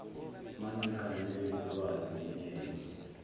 mangiganwe ngulwazi ngimyeke